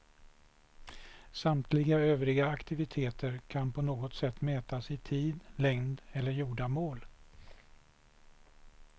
Samtliga övriga aktiviteter kan på något sätt mätas i tid, längd eller gjorda mål.